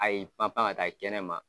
Ayi panpan ka taa kɛnɛma.